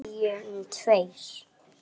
Segjum tveir.